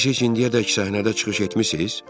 Siz heç indiyədək səhnədə çıxış etmisiz?